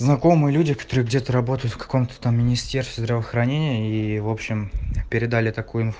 знакомые люди которые где ты работаешь в каком-то там министерстве здравоохранения и в общем передали такую инфу